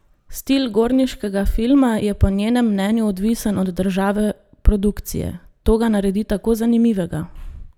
Stil gorniškega filma je po njenem mnenju odvisen od države produkcije: "To ga naredi tako zanimivega.